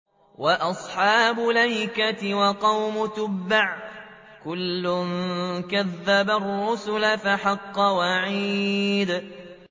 وَأَصْحَابُ الْأَيْكَةِ وَقَوْمُ تُبَّعٍ ۚ كُلٌّ كَذَّبَ الرُّسُلَ فَحَقَّ وَعِيدِ